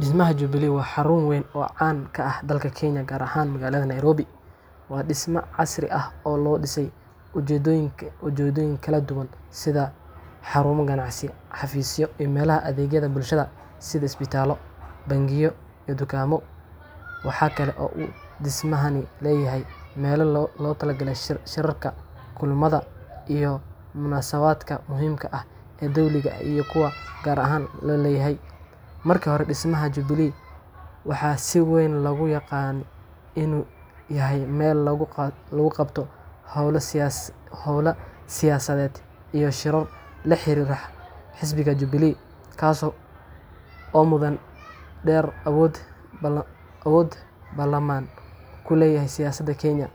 Dhismaha Jubilee waa xarun weyn oo caan ka ah dalka Kenya, gaar ahaan magaalada Nairobi. Waa dhisme casri ah oo loo dhisay ujeedooyin kala duwan sida xarumo ganacsi, xafiisyo, iyo meelaha adeegyada bulshada sida isbitaalo, bangiyo iyo dukaamo. Waxa kale oo uu dhismahani leeyahay meelo loogu talagalay shirarka, kulamada, iyo munaasabadaha muhiimka ah ee dawliga ah iyo kuwa gaarka loo leeyahay. Markii hore, dhismaha Jubilee waxaa si weyn loogu yaqaanay inuu yahay meel lagu qabto hawlo siyaasadeed iyo shirar la xiriira xisbiga Jubilee, kaas oo muddo dheer awood ballaaran ku lahaa siyaasadda Kenya.